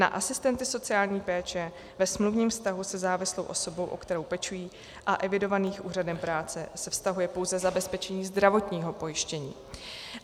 Na asistenty sociální péče ve smluvním vztahu se závislou osobou, o kterou pečují, a evidovaných úřadem práce se vztahuje pouze zabezpečení zdravotního pojištění.